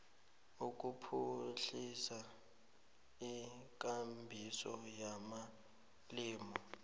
ukuphuhlisa ikambiso yamalimi